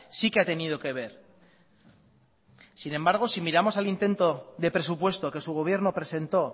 sí que ha tenido que ver sin embargo si miramos al intento de presupuesto que su gobierno presentó